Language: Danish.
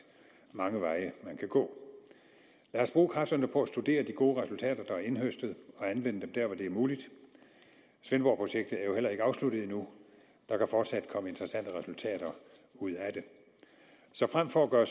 mange veje man kan gå lad os bruge kræfterne på at studere de gode resultater der er indhøstet og anvende dem der hvor det er muligt svendborgprojektet er jo heller ikke afsluttet endnu der kan fortsat komme interessante resultater ud af det så frem for at gøre